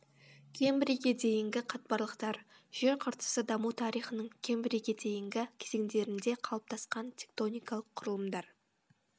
кембрийге дейінгі қатпарлықтар жер қыртысы даму тарихының кембрийге дейінгі кезеңдерінде қалыптасқан тектоникалық құрылымдар